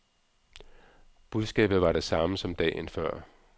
Budskabet var det samme som dagen før.